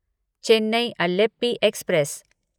Chennai Alleppey express